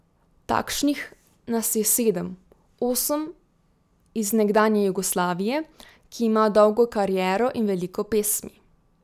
Takšnih nas je sedem, osem iz nekdanje Jugoslavije, ki ima dolgo kariero in veliko pesmi.